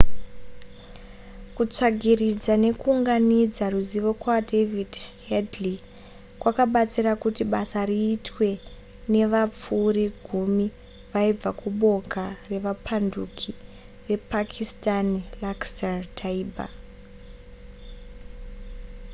kutsvagiridza nekuunganidza ruzivo kwadavid headley kwakabatsira kuti basa riitwe nevapfuri gumi vaibva kuboka revapanduki repakistani laskhar-e-taiba